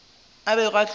a bego a tlo ba